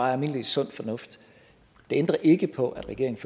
er almindelig sund fornuft det ændrer ikke på at regeringen